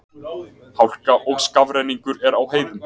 Hálka og skafrenningur er á heiðum